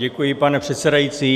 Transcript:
Děkuji, pane předsedající.